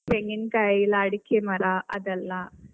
ತೆಂಗಿನಕಾಯಿ ಅಡಿಕೆ ಮರ ಅದೆಲ್ಲಾ.